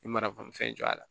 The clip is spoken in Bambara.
I mana bolifɛn jɔ a la